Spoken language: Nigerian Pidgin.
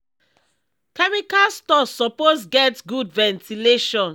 chemical store suppose get good ventilation.